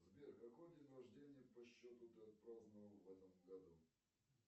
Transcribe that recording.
сбер какой день рождения по счету ты отпраздновал в этом году